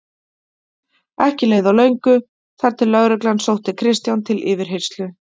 Ekki leið á löngu þar til lögreglan sótti Kristján til yfirheyrslu.